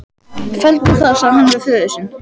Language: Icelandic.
Felldu það, sagði hann við föður sinn.